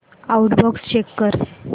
outbox check कर